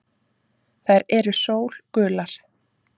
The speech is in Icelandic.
Þær eru sólgular.